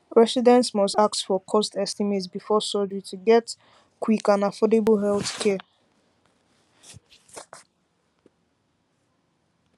residents must ask for cost estimate before surgery to get quick get quick and affordable healthcare